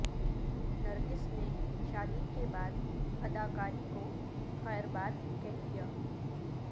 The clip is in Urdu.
نرگس نے شادی کے بعد اداکاری کو خیرباد کہہ دیا